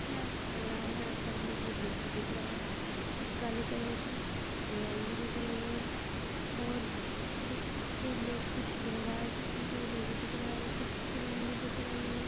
कितना अच्छा लग रहा है यहाँ पर मुझे लोग दिख रहा है और काली कलर की चेयर भी दिख रही है और कुछ ऐ लोग कुछ कह रहा है किसी से वो भी दिख रहा है कुछ क्रीम दिख रहीं है।